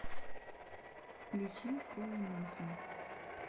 включи полу нельсон